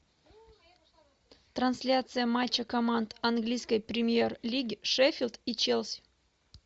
трансляция матча команд английской премьер лиги шеффилд и челси